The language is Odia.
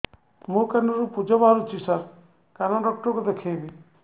ମୋ କାନରୁ ପୁଜ ବାହାରୁଛି ସାର କାନ ଡକ୍ଟର କୁ ଦେଖାଇବି